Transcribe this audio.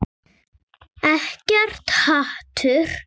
Ekkert hatur.